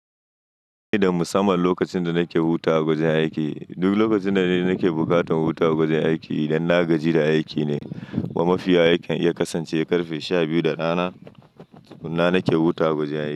Ba ni da musamman lokacin da nake hutawa a wajen aiki. Duk lokacina ne nake bukatan hutawa a wajen aiki idan na gaji da aiki ne. Amma mafiya aikin iya kasance karfe sha biyu da rana, suna nake hutawa a wajen aiki.